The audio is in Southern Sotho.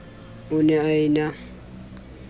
o ne a e na